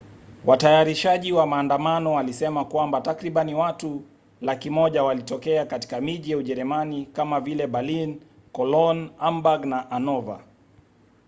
watayarishaji wa maandamano walisema kwamba takribani watu 100,000 walitokea katika miji ya ujerumani kama vile berlin cologne hamburg na hanover